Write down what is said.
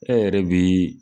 E yɛrɛ bi